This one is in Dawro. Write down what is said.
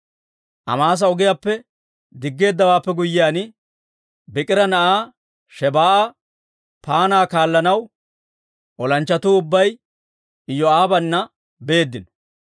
Amaasa ogiyaappe diggeeddawaappe guyyiyaan, Biikira na'aa Shebaa'a paanaa kaallanaw olanchchatuu ubbay Iyoo'aabana beeddino.